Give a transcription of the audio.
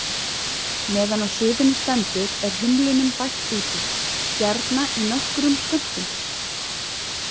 Meðan á suðunni stendur er humlunum bætt út í, gjarna í nokkrum skömmtum.